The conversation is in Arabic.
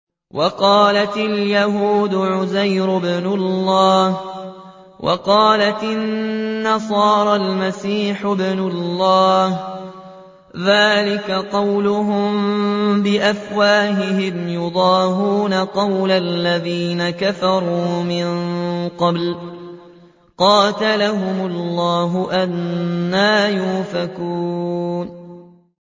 وَقَالَتِ الْيَهُودُ عُزَيْرٌ ابْنُ اللَّهِ وَقَالَتِ النَّصَارَى الْمَسِيحُ ابْنُ اللَّهِ ۖ ذَٰلِكَ قَوْلُهُم بِأَفْوَاهِهِمْ ۖ يُضَاهِئُونَ قَوْلَ الَّذِينَ كَفَرُوا مِن قَبْلُ ۚ قَاتَلَهُمُ اللَّهُ ۚ أَنَّىٰ يُؤْفَكُونَ